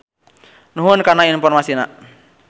Nuhun kana informasina.